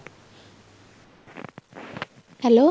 hello